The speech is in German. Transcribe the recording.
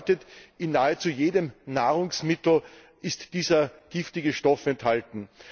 Das bedeutet In nahezu jedem Nahrungsmittel ist dieser giftige Stoff enthalten.